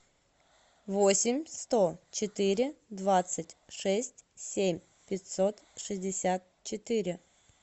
восемь сто четыре двадцать шесть семь пятьсот шестьдесят четыре